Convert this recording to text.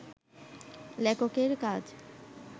লেখকের কাজ